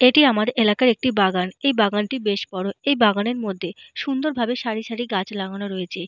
এটি আমার এলাকার একটি বাগান। এই বাগানটি বেশ বড়। এই বাগানের মধ্যে সুন্দর ভাবে সারি সারি গাছ লাগানো হয়েছে।